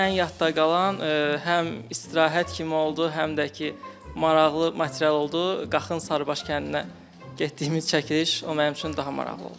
Ən yadda qalan həm istirahət kimi oldu, həm də ki, maraqlı material oldu, Qaxın Sarıbaş kəndinə getdiyimiz çəkiliş o mənim üçün daha maraqlı oldu.